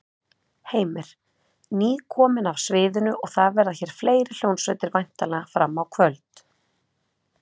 Heimir: Nýkomin af sviðinu og það verða hér fleiri hljómsveitir væntanlega fram á kvöld?